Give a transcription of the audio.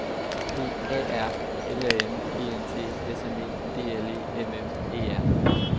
P A R L A M E N T S M E D L E M M E R